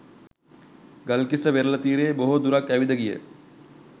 ගල්කිස්ස වෙරළ තීරයේ බොහෝ දුරක් ඇවිද ගිය